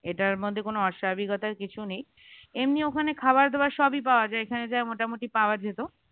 এটার মধ্যেই কোন অস্বাভাবিকতার কিছু নেই এমনি ওখানে খাবার দাবার সবই পাওয়া যায় এখানে যা মোটামুটি পাওয়া যেত